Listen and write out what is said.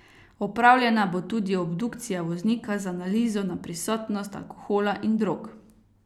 Opravljena bo tudi obdukcija voznika z analizo na prisotnost alkohola in drog.